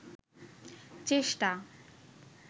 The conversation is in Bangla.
চেষ্টা